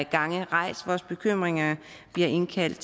gange rejst vores bekymringer vi har indkaldt